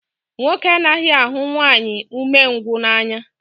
Nwoke anaghị ahụ nwanyị umengwụ n'anya